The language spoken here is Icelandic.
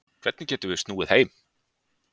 Hvernig getum við snúið heim